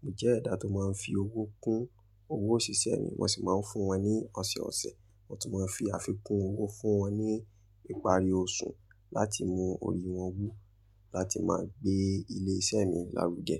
Mo jẹ́ ẹ̀dá tó máa ń fi owó kún owó òṣìṣẹ́ mi, mo sì máa ń fún wa ní ọ̀sẹ̀ẹ̀ ọ̀sẹ̀. Wọ́n tún máa ń fi àfikún owó fún wọn ní ìparí oṣù, láti mú ori wọn wú, láti máa gbé ilé iṣẹ́ mi lárúge.